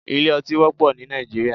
Ilé ọtí wọ́pọ̀ ní Nàìjíríà